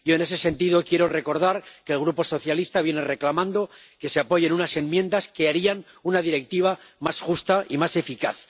Yo, en ese sentido, quiero recordar que el Grupo socialista viene reclamando que se apoyen unas enmiendas que harían una Directiva más justa y más eficaz.